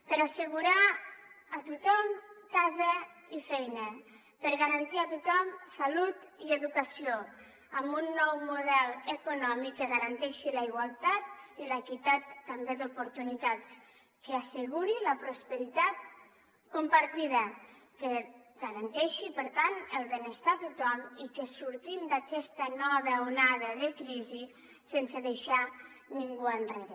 per assegurar a tothom casa i feina per garantir a tothom salut i educació amb un nou model econòmic que garanteixi la igualtat i l’equitat també d’oportunitats que asseguri la prosperitat compartida que garanteixi per tant el benestar a tothom i que sortim d’aquesta nova onada de crisi sense deixar ningú enrere